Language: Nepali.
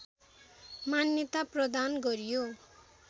मान्यता प्रदान गरियो